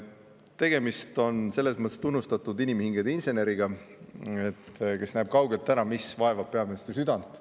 Tegemist on selles mõttes tunnustatud inimhingede inseneriga, kes näeb kaugelt ära, mis vaevab peaministri südant.